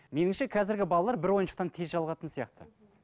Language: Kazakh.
немесе қазіргі балалар бір ойыншықтан тез жалығатын сияқты